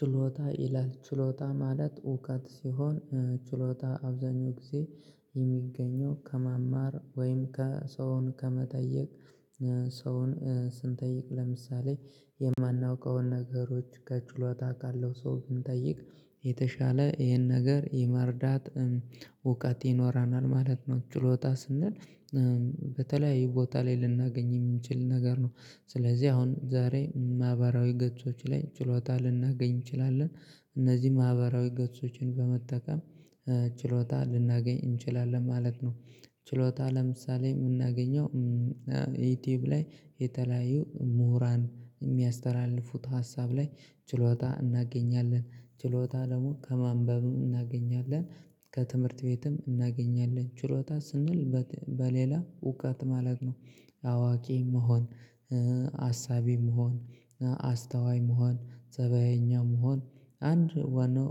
ችሎታ ይላል ችሎታ ማለት እውቀት ሲሆን ችሎታ አብዛኛው ጊዜ የሚገኘው ከማማር ወይም ከሰውን ከመጠየቅ ሰውን ስንጠይቅ ለምሳሌ የማናውቀውን ነገሮች ከችሎታ ካለው ሰው ብንጠይቅ የተሻለ ይሄን ነገር የመረዳት እውቀት ይኖረናል ማለት ነው። ችሎታ ስንል በተለያዩ ቦታ ላይ ልናገኝ የምንችል ነገር ነው። ስለዚህ አሁን ዛሬ ማህበራዊ ገጾች ላይ ችሎታ ልናገኝ እንችላለን እነዚህ ማህበራዊ ገጾችን በመጠቀም ችሎታ ልናገኝ እንችላለን ማለት ነው። ችሎታ ለምሳሌ የምናገኘው ዩቲዩብ ላይ የተለያዩ ምሁራን የሚያስተላልፉት ሀሳብ ላይ ችሎታ እናገኛለን ችሎታ ደግሞ ከማንበብ እናገኛለን ከትምህርት ቤትም እናገኛለን ችሎታ ስንል በሌላ እውቀት ማለት ነው። አዋቂ መሆን አሳቢ መሆን አስተዋይ መሆን ፀባየኛ መሆን አንድ ዋናው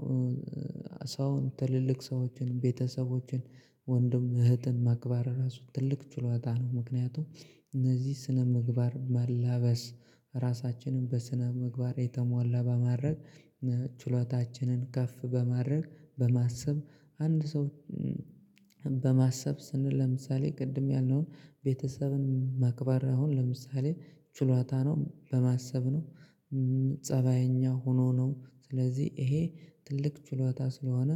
ሰውን ትልልቅ ሰዎችን ቤተሰቦችን ወንድም እህትን ማክበር ራሱ ትልቅ ችሎታ ነው። ምክንያቱም እነዚህ ስነ ምግባር መላበስ ራሳችንን በስነ ምግባር የተሟላ በማድረግ ችሎታችንን ከፍ በማድረግ በማሰብ አንድ ሰው በማሰብ ስንል ለምሳሌ ቅድም ያልነውን ቤተሰብን መቅበር አሁን ለምሳሌ ችሎታ ነው። በማሰብ ነው ፀባይኛ ሆኖ ነው ስለዚህ ይሄ ትልቅ ችሎታ ስለሆነ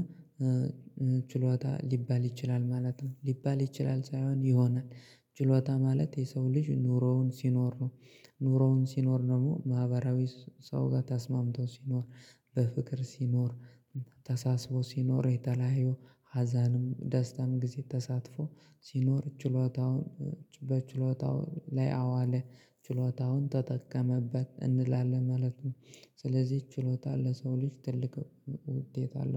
ችሎታ ሊባል ይችላል ማለት ነው ሊባል ይችላል ሳይሆን ይሆናል። ችሎታ ማለት የሰው ልጅ ኑሮውን ሲኖር ነው። ኑሮውን ሲኖር ደግሞ ማህበራዊ ሰው ጋር ተስማምቶ ሲኖር በፍቅር ሲኖር ተሳስቦ ሲኖር የተለያዩ ሀዘንም ደስታም ጊዜ ተሳትፎ ሲኖር ችሎታውን በችሎታው ላይ አዋለ ችሎታውን ተጠቀመበት እንላለን ማለት ነው። ስለዚህ ችሎታ ለሰው ልጅ ትልቅ ውጤት አለው